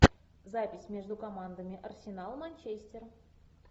запись между командами арсенал манчестер